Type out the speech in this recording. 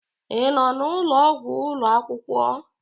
Ị nọ n'ụlọ ọgwụ ụlọ akwụkwọ?